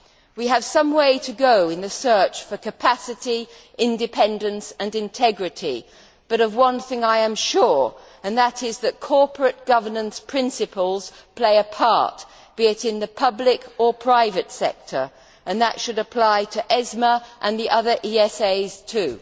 We have some way to go in the search for capacity, independence and integrity, but of one thing I am sure, and that is that corporate governance principles play a part, be it in the public or private sector, and that should apply to ESMA and the other ESAs too.